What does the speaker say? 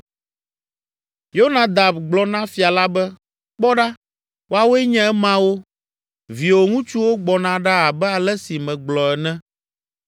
Yonadab gblɔ na fia la be, “Kpɔ ɖa, woawoe nye emawo! Viwò ŋutsuwo gbɔna ɖa abe ale si megblɔ ene.”